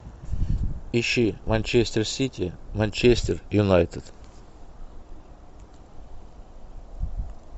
ищи манчестер сити манчестер юнайтед